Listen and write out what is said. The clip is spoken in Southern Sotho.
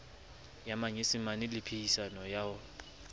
ya manyesemane le phehisano ya